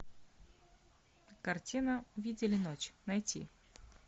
картина видели ночь найти